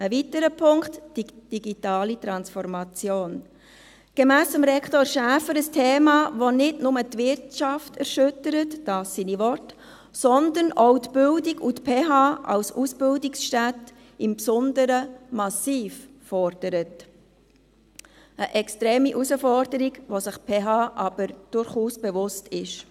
Ein weiterer Punkt: die digitale Transformation, gemäss Rektor Schäfer ein Thema, das nicht nur die Wirtschaft erschüttert – dies seine Worte –, sondern das auch die Bildung und die PH Bern als Ausbildungsstätte im Besonderen massiv fordert – eine extreme Herausforderung, der sich die PH Bern aber durchaus bewusst ist.